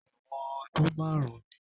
Ẹ̀wọ̀n ọdún márùn-ún ni